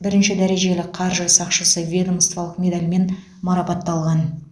бірінші дәрежелі қаржы сақшысы ведомстволық медалімен марапатталған